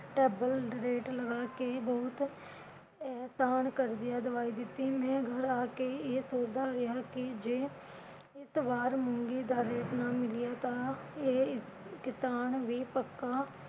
double rate ਲਗਾ ਕੇ ਬਹੁਤ ਅਹਿਸਾਨ ਕਰਦਿਆਂ ਦਵਾਈ ਦਿੱਤੀ। ਮੈਂ ਘਰ ਆ ਕੇ ਇਹ ਸੋਚਦਾ ਰਿਹਾ ਕਿ ਜੇ ਇਸ ਵਾਰ ਮੂੰਗੀ ਦਾ rate ਨਾ ਮਿਲਿਆ ਤਾਂ ਇਹ ਕਿਸਾਨ ਵੀ ਪੱਕਾ